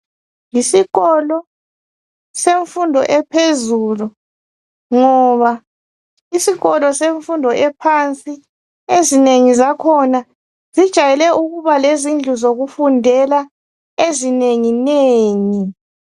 Yisikolo semfundo yaphezulu ngoba isikolo semfundo ephansi ezinengi zakhona zijayele ukuba lezindlu zokufundela ezinengi nengi.